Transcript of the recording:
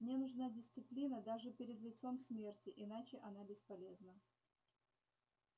мне нужна дисциплина даже перед лицом смерти иначе она бесполезна